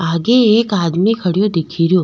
आगे एक आदमी खड़ो दिख रो।